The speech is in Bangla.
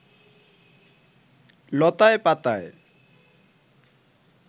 লতায় পাতায়